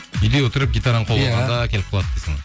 үйде отырып гитараны қолға алғанда келіп қалады дейсің ғой